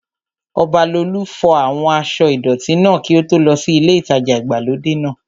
Ọbalolú fọ àwọn aṣọ́ ìdọ̀tí náà kí ó tó lọ sí ilé ìtajà ìgbàlódé náà